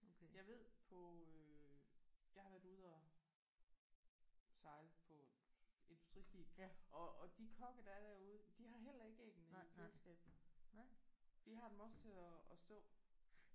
Jeg ved på øh jeg har været ude at sejle på industriskib og og de kokke der er derude de har heller ikke æggene i køleskab. De har dem også at at stå